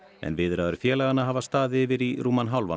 en viðræður félaganna hafa staðið yfir í rúman hálfan